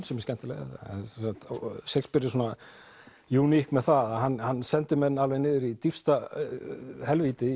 sem er skemmtileg Shakespeare er júník með það að hann hann sendir menn alveg niður í dýpsta helvíti